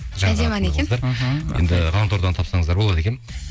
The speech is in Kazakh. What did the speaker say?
әдемі ән екен мхм енді ғаламтордан тапсаңыздар болады екен